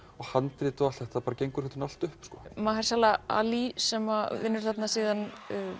handrit og allt gengur þetta upp ali sem vinnur þarna síðan